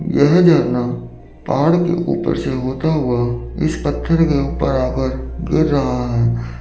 यह झरना पहाड़ के ऊपर से होता हुआ इस पत्थर के ऊपर आकर गिर रहा है।